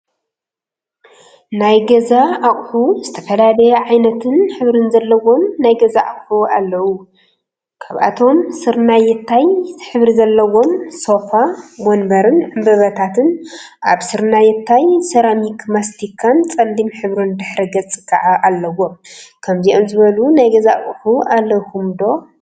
ናይ ገዛ አቁሑ ዝተፈላለዩ ዓይነትን ሕብሪን ዘለዎም ናይ ገዛ አቁሑ አለው፡፡ ካብአቶም ስርናየታይ ሕብሪ ዘለዎም ሶፋ፣ ወንበርን ዕንበባታትን አብ ስርናየታይ ሰራሚክ፣ ማስቲካን ፀሊም ሕብሪን ድሕረ ገፅ ከዓ አለዎም፡፡ ከምዚኦም ዝበሉ ናይ ገዛ አቁሑ አለውኩም ዶ?